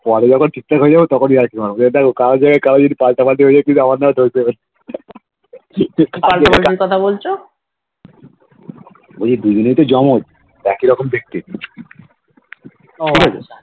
পরে যখন ঠিক থাক হয়ে যাবে তখন ইয়ার্কি করবো যে দেখ কর জায়গায় কারে আমার নামে দোষ দেবে এইযে দুজনেই তো জমজ একই রকম দেখতে ঠিকাছে